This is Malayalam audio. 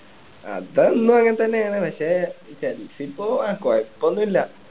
അത് എന്നും അങ്ങനെ തന്നെ ആണ് പക്ഷെ ഈ tens ഇപ്പൊ ആഹ് കുഴപ്പം ഒന്നും ഇല്ല